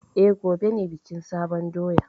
E, gobe ne bikin sabon doya.